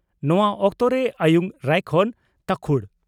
ᱱᱚᱣᱟ ᱚᱠᱛᱚᱨᱮ ᱟᱭᱩᱝ ᱨᱟᱭᱠᱷᱚᱱ (ᱛᱟᱝᱠᱷᱩᱲ)